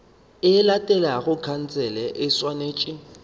e latelago khansele e swanetše